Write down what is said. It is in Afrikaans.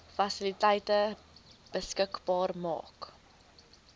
fasiliteite beskikbaar maak